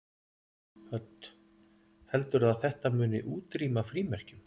Hödd: Heldurðu að þetta muni útrýma frímerkjum?